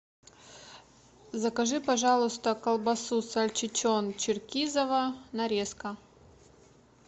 закажи пожалуйста колбасу сальчичон черкизово нарезка